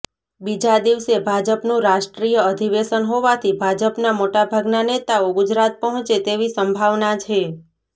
બીજા દિવસે ભાજપનું રાષ્ટ્રીય અધિવેશન હોવાથી ભાજપના મોટાભાગના નેતાઓ ગુજરાત પહોંચે તેવી સંભાવના છે